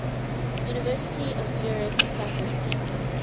university of zurich faculty